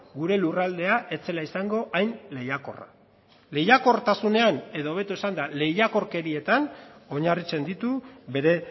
gure lurraldea ez zela izango hain lehiakorra lehiakortasunean edo hobeto esanda lehiakorkerietan oinarritzen ditu bere